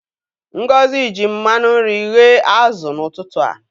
Ngozi ji mmanụ nri ghee azụ n'ụtụtụ a.